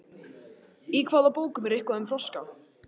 Í hvaða bókum er eitthvað um froska?